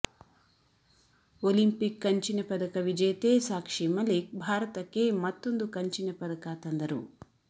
Olympic ಕಂಚಿನ ಪದಕ ವಿಜೇತೆ ಸಾಕ್ಷಿ ಮಲಿಕ್ ಭಾರತಕ್ಕೆ ಮತ್ತೊಂದು ಕಂಚಿನ ಪದಕ ತಂದರು